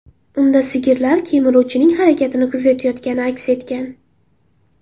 Unda sigirlar kemiruvchining harakatini kuzayotgani aks etgan.